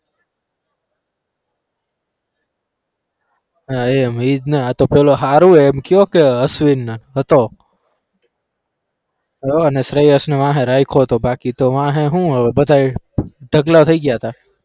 હા એમ ઈ જ ને આ તો પેલો હારું એમ કયો કે અશ્વિન ને હતો અને શ્રેયસ ને વાહે રાયખો તો બાકી વાહે તો શુ હોય બધા ટકલા થઇ ગયા હતા.